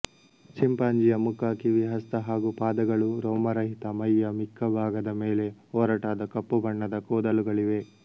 ಚಿಂಪಾಂಜಿ಼ಯ ಮುಖ ಕಿವಿ ಹಸ್ತ ಹಾಗೂ ಪಾದಗಳು ರೋಮರಹಿತ ಮೈಯ ಮಿಕ್ಕ ಭಾಗದ ಮೇಲೆ ಒರಟಾದ ಕಪ್ಪು ಬಣ್ಣದ ಕೂದಲುಗಳಿವೆ